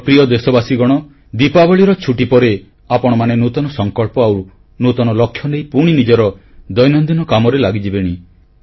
ମୋର ପ୍ରିୟ ଦେଶବାସୀଗଣ ଦୀପାବଳିର ଛୁଟି ରେ ଆପଣମାନେ ନୂତନ ସଂକଳ୍ପ ଆଉ ନୂତନ ଲକ୍ଷ୍ୟ ନେଇ ପୁଣି ନିଜର ଦୈନନ୍ଦିନ କାମରେ ଲାଗିଯିବେଣି